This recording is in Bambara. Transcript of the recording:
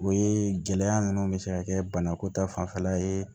O ye gɛlɛya nunnu be se ka kɛ banako ta fanfɛla ye